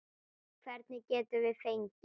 Hvern getum við fengið?